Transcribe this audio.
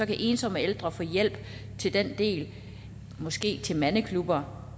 kan ensomme ældre få hjælp til den del måske til mandeklubber